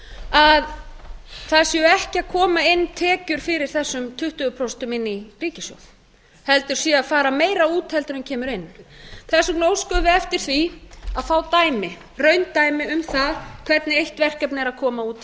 að það séu ekki að koma inn tekjur fyrir getum tuttugu prósent inn í ríkissjóð heldur sé að fara meira út heldur en kemur inn þess vegna óskuðum við eftir því að fá raundæmi um það hvernig eitt verkefni er að koma út hér